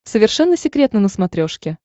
совершенно секретно на смотрешке